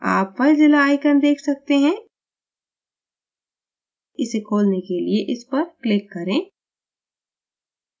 आप filezilla icon देख सकते हैं इसे खोलने के लिए इसपर click करें